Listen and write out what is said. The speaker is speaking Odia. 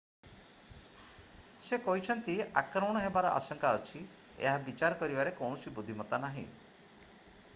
ସେ କହିଛନ୍ତି ଆକ୍ରମଣ ହେବାର ଆଶଙ୍କା ଅଛି ଏହା ବିଚାର କରିବାରେ କୌଣସି ବୁଦ୍ଧିମତା ନାହିଁ